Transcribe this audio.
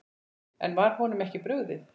En var honum ekki brugðið?